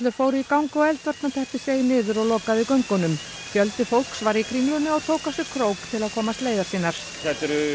fóru í gang og eldvarnarteppi seig niður og lokaði göngunum fjöldi fólks var í Kringlunni og tók á sig krók til að komast leiðar sinnar þetta eru